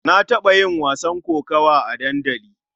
Na taɓa yin wasan kokawa a dandali.